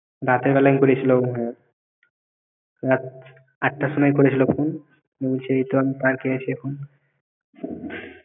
রাতের বেলায় ঘুরেছিল রাত আটটার সময় করেছিল phone বলছে এইতো আমি park এ আছি এখন